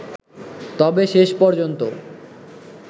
তবে শেষ পর্যন্ত